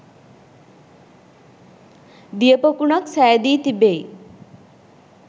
දියපොකුණක් සෑදී තිබෙයි.